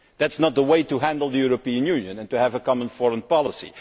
That is not the way to handle the European Union and to have a common foreign policy.